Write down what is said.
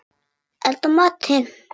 Elda matinn.